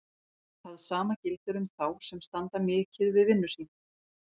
Það sama gildir um þá sem standa mikið við vinnu sína.